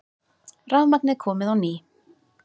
Rafmagnið komið á ný